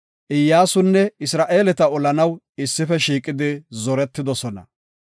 Iyyasunne Isra7eeleta olanaw issife shiiqidi zoretidosona.